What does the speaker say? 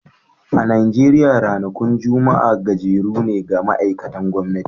A Najeriya ranakun Juma'a gajeru ne ga ma'aikatan gwamnati